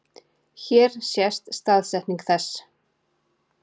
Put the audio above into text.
Hér sést staðsetning þess.